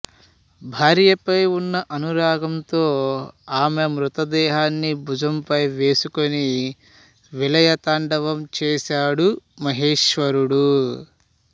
భార్యపై ఉన్న అనురాగంతో ఆమె మృతదేహాన్ని భుజంపై వేసుకుని విలయ తాండవం చేశాడు మహేశ్వరుడు